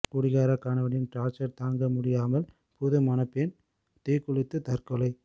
குடிகார கணவனின் டார்ச்சர் தாங்க முடியாமல் புது மணப்பெண் தீக்குளித்து தற்கொலை